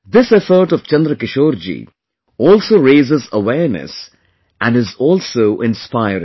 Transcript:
This effort of Chandrakishore ji also raises awareness and is also inspiring